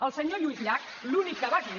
el senyor lluís llach l’únic que va dir